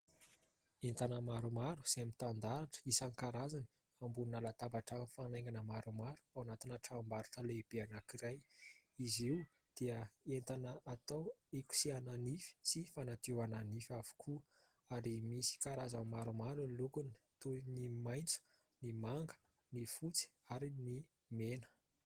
Entana maromaro izay mitandahatra isan-karazany ambonina latabatra mifanaingina maromaro ao anatina tranom-barotra lehibe anankiray. Izy io dia entana atao hikosehana nify sy fanadiovana nify avokoa ary misy karazany maromaro ny lokony toy ny maitso, ny manga, ny fotsy ary ny mena.